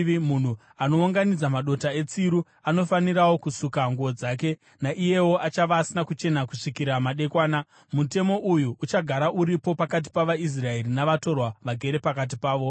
Munhu anounganidza madota etsiru anofanirawo kusuka nguo dzake, naiyewo achava asina kuchena kusvikira madekwana. Mutemo uyu uchagara uripo pakati pavaIsraeri navatorwa vagere pakati pavo.